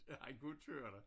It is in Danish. At han kunne køre der